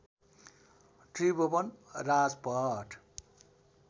Tribhuvan Rajpath